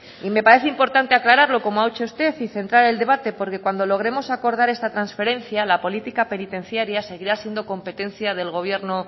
y me parece importante aclararlo como ha hecho usted y centrar el debate porque cuando logremos acordar esta transferencia la política penitenciaria seguirá siendo competencia del gobierno